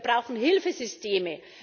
Wir brauchen Hilfesysteme.